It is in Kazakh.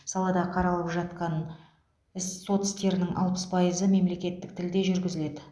салада қаралып жатқан іс сот істерінің алпыс пайызы мемлекеттік тілде жүргізіледі